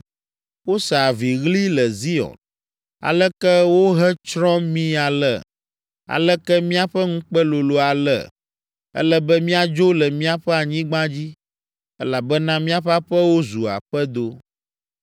Wose aviɣli le Zion. ‘Aleke wohetsrɔ̃ mí ale! Aleke míaƒe ŋukpe lolo ale! Ele be míadzo le míaƒe anyigba dzi, elabena míaƒe aƒewo zu aƒedo!’ ”